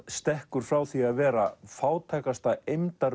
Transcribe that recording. stekkur frá því að vera fátækasta